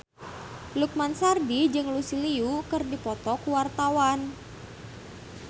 Lukman Sardi jeung Lucy Liu keur dipoto ku wartawan